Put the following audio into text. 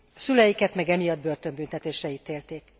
A szüleiket meg emiatt börtönbüntetésre ítélték.